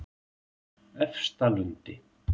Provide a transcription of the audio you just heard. Efstalundi